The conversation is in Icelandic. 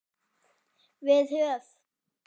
Við höf